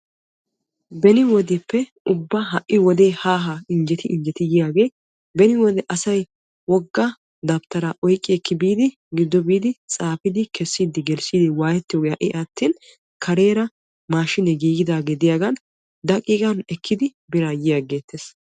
Beni wodeppe ha'i wodee ubba haa haa injjeti injjeti yiyaagee beni wode asay wogga dabttaraa oyqqi ekki biidi giddo biidi tsaafidi kessiidi gelissidi waayettiyoogee ha'i attin kareera maashinee giigidagee diyaagan daqiiqan ekkidi biraa yi aggeettes.